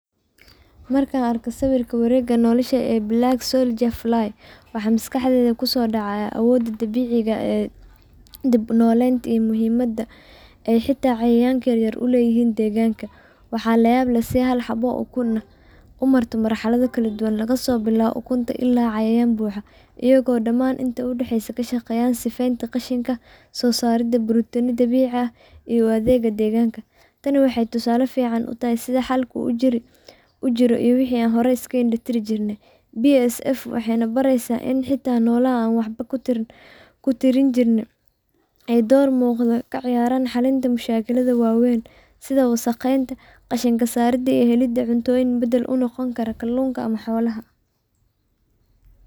Markan arko sawirka wareega nolosha ee Black soldier fly waxaa maskaxdeda kuso dhacaya awooda dabiciga eh dib u noleynta iyo muhiimada ee xita cayayanka yar uleyihijn deegganka, waxaa la yab leh si hal xabo oo ukum ah umarto Mar xalada kala duban lagaso bilawo ukunta ila cayayan buxa ayago dhamaan inta udhexeyso kashaqeyan sifeynta qashinka soo saarida brotina dabici ah iyo adeegga degaanka, tani waxay tusaale fican utahay sidi xalka uu ujiro iyo wixii an horey iska indha tiri jirne, bsf waxay nabareesa ini xita nolaha an waxba kutirini jirnee ee door muqdo kaciyaaran xalinta mashakilada waweyn sida wasaqeynta qashinka saarida iyo helida cuntoyin badal unoqon kartaa kallunka ama xolaha